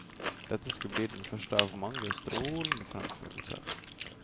Dette skulle bli den første av mange strålende fremførelser.